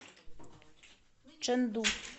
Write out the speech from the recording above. чэнду